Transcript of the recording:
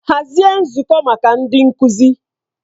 Hazie nzukọ maka ndị nkuzi!